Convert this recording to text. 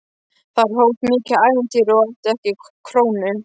Þar hófst mikið ævintýri og ég átti ekki krónu.